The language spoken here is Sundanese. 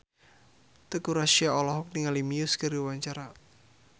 Teuku Rassya olohok ningali Muse keur diwawancara